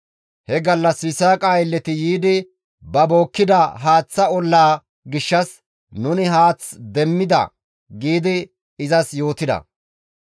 He gallas Yisaaqa aylleti yiidi ba bookkida haaththa ollaa gishshas, «Nuni haath demmidos» gi izas yootida.